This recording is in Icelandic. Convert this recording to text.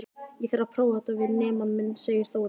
Ég þarf að prófa þetta við nemann minn, segir Þórunn.